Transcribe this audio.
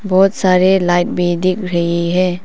बहुत सारे लाइट भी दिख रही है।